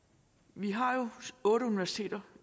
vi har jo otte universiteter